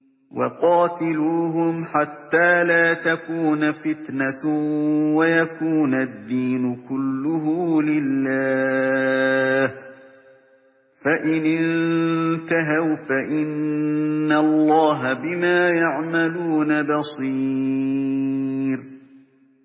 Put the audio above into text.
وَقَاتِلُوهُمْ حَتَّىٰ لَا تَكُونَ فِتْنَةٌ وَيَكُونَ الدِّينُ كُلُّهُ لِلَّهِ ۚ فَإِنِ انتَهَوْا فَإِنَّ اللَّهَ بِمَا يَعْمَلُونَ بَصِيرٌ